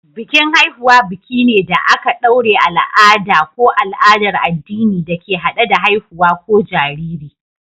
Bikin Haihuwa biki ne da aka ɗaure al'ada ko al'adar addini da ke hade da haihuwa ko jariri.